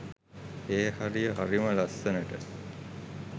ඒ හරිය හරිම ලස්සනට